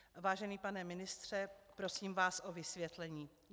Vážený pane ministře, prosím vás o vysvětlení.